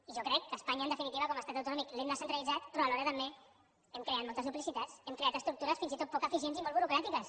i jo crec que espanya en definitiva com a estat autonòmic l’hem descentralitzat però alhora també hem creat moltes duplicitats hem creat estructures fins i tot poc eficients i molt burocràtiques